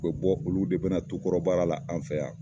U bɛ bɔ, olu de bɛna tukɔrɔbaara la, an fɛ yan.